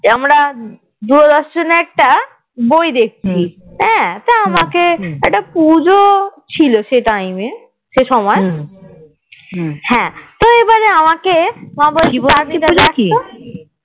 আমরা দুরো দর্শনে একটা বই দেখছি হ্যাঁ তা আমাকে একটা পুজো ছিল সে time এ সে সময় হ্যাঁ তো এবারে আমাকে